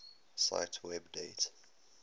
cite web date